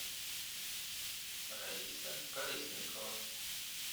раиса колесникова